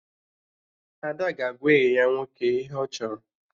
Ada ga-agwa enyi ya nwoke ihe ọ chọrọ